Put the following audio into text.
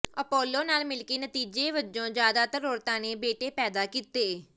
Apollo ਨਾਲ ਮਿਲਕੇ ਨਤੀਜੇ ਵਜੋਂ ਜਿਆਦਾਤਰ ਔਰਤਾਂ ਨੇ ਬੇਟੇ ਪੈਦਾ ਕੀਤੇ